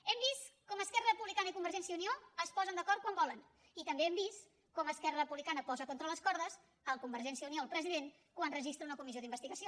hem vist com esquerra republicana i convergència i unió es posen d’acord quan volen i també hem vist com esquerra republicana posa contra les cordes convergència i unió el president quan registra una comissió d’investigació